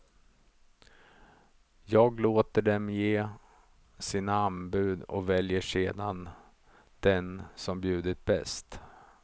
Jag låter dem ge sina anbud och väljer sedan den som bjudit bäst.